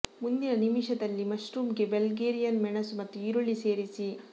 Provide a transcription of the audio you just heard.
ಮುಂದಿನ ನಿಮಿಷದಲ್ಲಿ ಮಶ್ರೂಮ್ ಗೆ ಬಲ್ಗೇರಿಯನ್ ಮೆಣಸು ಮತ್ತು ಈರುಳ್ಳಿ ಸೇರಿಸಿ